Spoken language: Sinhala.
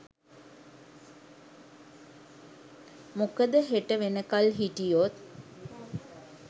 මොකද හෙට වෙනකල් හිටියොත්